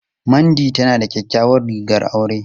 Mandy tana da kyakkyawar rigar aure.